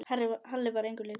Halli var engum líkur.